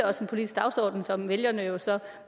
også en politisk dagsorden som vælgerne jo så